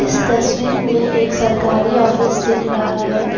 इस तस्वीर में एक सरकारी ऑफिस दिख रहा है।